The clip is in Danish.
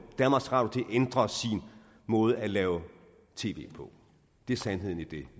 danmarks radio til at ændre sin måde at lave tv på det er sandheden i det